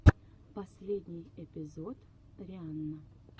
выступление зэ синшоу на ютюбе